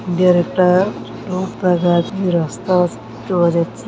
একটা রাস্তা চলে যাচ্ছে ।